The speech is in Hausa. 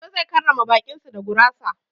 Lado zai karrama baƙin su da gurasa.